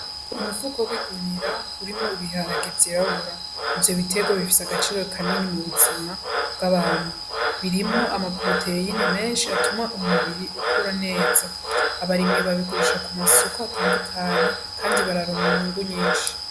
Umufuko w'igunira urimwo ibiharage vyirabura. Ivyo bitegwa bifise akamaro kanini kubuzima bgabantu birimwo ama proteyine menshi bituma umubiri ukura neza abarimyi bayagurisha ku masoko atandukanye kandi bararonka inyungu nyinshi.